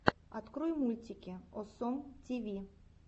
открой мультики осом тиви